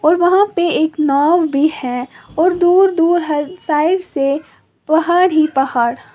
और वहां पे एक नाव भी है और दूर दूर हर साइड से पहाड़ ही पहाड़।